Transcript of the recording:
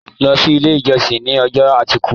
Lọ sí ilé ìjọsìn ní ọjọ́ àìkú!